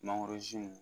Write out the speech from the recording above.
Mangorozi